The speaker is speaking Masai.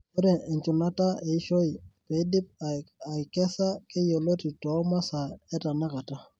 Ore enchunataa eishoe peidipi aikesa keiyoloti to masaa etenakata.